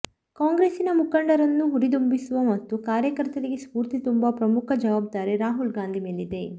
ಕಾಂಗ್ರೆಸ್ಸಿನ ಮುಖಂಡರನ್ನು ಹುರಿದುಂಬಿಸುವ ಮತ್ತು ಕಾರ್ಯಕರ್ತರಿಗೆ ಸ್ಪೂರ್ತಿ ತುಂಬುವ ಪ್ರಮುಖ ಜವಾಬ್ದಾರಿ ರಾಹುಲ್ ಗಾಂಧಿ ಮೇಲಿದೆ